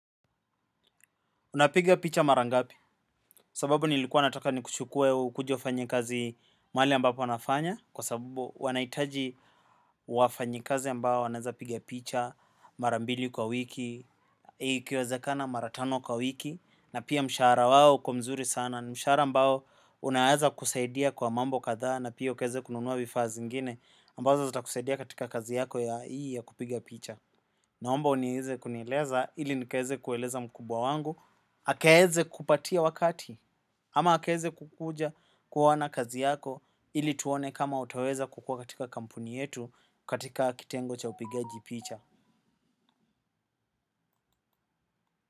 Unapiga picha mara ngapi sababu nilikuwa nataka ni kuchukue ukuje ufanye kazi mahali ambapo nafanya kwa sababu wanahitaji wafanyikazi ambao wanaweza piga picha mara mbili kwa wiki. Ikiwezekana mara tano kwa wiki na pia mshahara wao uko mzuri sana. Mshahara ambao unaweza kusaidia kwa mambo kadha na pia ukaweza kununua vifaa zingine ambazo zitakusaidia katika kazi yako ya hii ya kupiga picha. Naomba unieze kunieleza ili nikaeze kueleza mkubwa wangu akaweze kupatia wakati ama akaweze kukuja kuona kazi yako ili tuone kama utaweza kukuwa katika kampuni yetu katika kitengo cha upigaji picha.